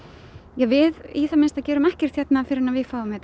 ja við í það minnsta gerum ekkert hérna fyrr en við fáum þetta